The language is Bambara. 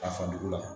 A fa dugu la